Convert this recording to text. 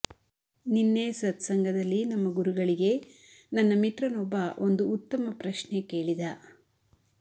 ನಿನ್ನೆ ಸತ್ಸಂಗದಲ್ಲಿ ನಮ್ಮ ಗುರುಗಳಿಗೆ ನನ್ನ ಮಿತ್ರ ನೊಬ್ಬ ಒಂದು ಉತ್ತಮ ಪ್ರಶ್ನೆ ಕೇಳಿದ